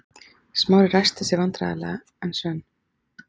Smári ræskti sig vandræðalega en Svein